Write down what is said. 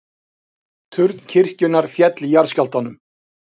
Turn kirkjunnar féll í jarðskjálftanum